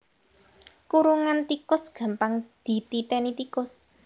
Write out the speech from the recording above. Kurungan tikus gampang dititéni tikus